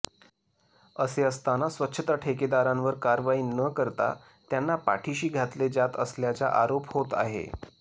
असे असताना स्वच्छता ठेकेदारांवर कारवाई न करता त्यांना पाठिशी घातले जात असल्याचा आरोप होत आहे